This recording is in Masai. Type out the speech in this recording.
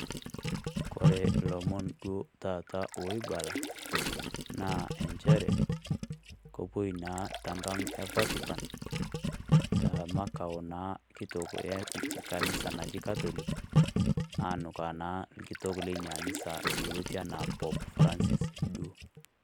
Kore ilomon duo taata oibala, naa enchere, kewuo naa enkang e Vatican te makao naa kitok e kanisa naji catholic anukaa naa olkitok lina anisa yioloti Pope Francis Duo